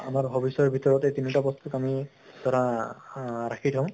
আমাৰ hobbies ৰ ভিতৰত এই তিনিটা বস্তুক আমি ধৰা আহ ৰাখি থওঁ